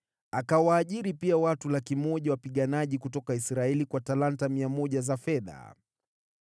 Akawaajiri pia watu 100,000 wapiganaji kutoka Israeli kwa talanta 100 za fedha.